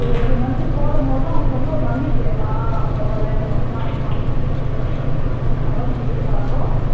every month போடும்போது அவங்களுக்கு வந்து ஒரு நம்பிக்கை அ பரவால்ல இவங்க வந்து காசு மாச மாசம் போடுவாங்க அப்ப நம்ம வந்து கடன் கொடுத்தாலும்